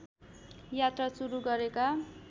यात्रा सुरु गरेका